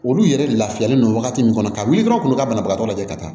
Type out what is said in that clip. Olu yɛrɛ lafiyalen don wagati min kɔnɔ ka wuli dɔrɔn u kun bɛ ka banabagatɔ lajɛ ka taa